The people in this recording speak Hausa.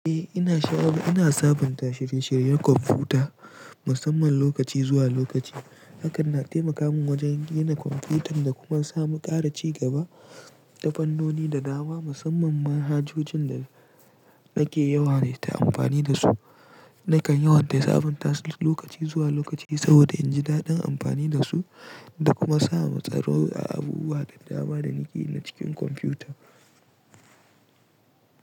Eh, ina sha'awa. Ina sabunta shirye-shiryen kwamfuta masamman lokaci zuwa lokaci. Hakan na taimaka min wajen gina kwamfutar da kuma samu ƙara ci gaba. Tafannoni da dama masamman manhajojin da nake yawa ta amfani da su, nakan yawan sabunta su lokaci zuwa lokaci saboda in ji daɗin amfani da su da kuma samu tsaro a abubuwan dama danake na cikin kwamfuta.